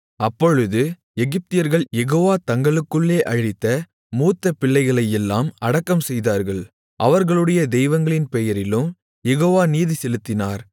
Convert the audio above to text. அப்பொழுது எகிப்தியர்கள் யெகோவா தங்களுக்குள்ளே அழித்த மூத்தபிள்ளைகளையெல்லாம் அடக்கம்செய்தார்கள் அவர்களுடைய தெய்வங்களின் பெயரிலும் யெகோவா நீதிசெலுத்தினார்